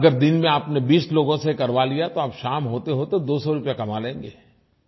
अगर दिन में आपने 20 लोगों से करवा लिया तो आप शाम होतेहोते 200 रुपये कमा लेंगे